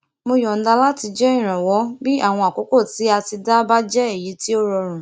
mo yọnda láti jẹ ìrànwó bí àwọn àkókò tí a ti dá bá jẹ èyí tí ó rọrùn